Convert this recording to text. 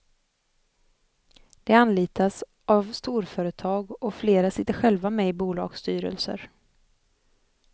De anlitas av storföretag och flera sitter själva med i bolagsstyrelser.